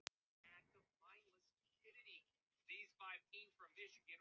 Enginn þarf að vita um það.